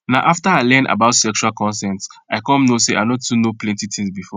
na after i learn about sexual consent i come know say i no too know plenty things before